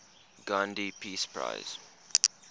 gandhi peace prize